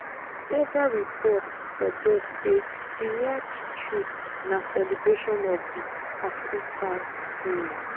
several reports suggest say di yacht trip na celebration of di acquittal um